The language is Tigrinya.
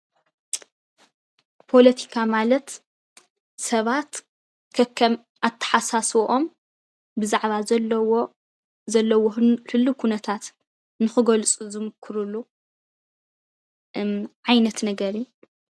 ፖለቲካ ማለት ሰባት ከከም ኣተሓሳስብኦም ብዛዕባ ዘለዎ ህሉው ኩነታት ንክገልፁ ዝምኩርሉ ዓይነት ነገር እዩ፡፡